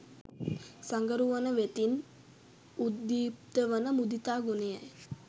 සඟරුවන වෙතින් උද්දීප්ත වන මුදිතා ගුණයයි.